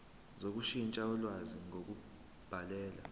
sokushintsha ulwazi ngokubhalela